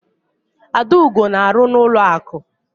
Adaugo na-arụ n'ụlọakụ.